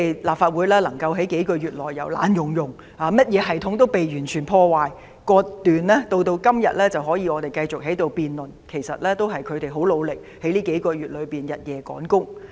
立法會能夠在數個月內，由破爛不堪及甚麼系統也被完全破壞和割斷，到今天能夠讓我們繼續在此辯論，其實也是因為他們很努力在近數月內日夜趕工。